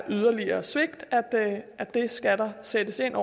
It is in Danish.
yderligere svigt der skal sættes ind